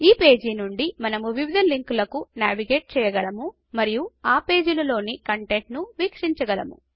ఈ పేజీ నుండి మనము వివిధ లింకులకు నావిగేట్ చెయ్యగలము మరియు ఆ పేజీలలోని కంటెంట్ను వీక్షించగలము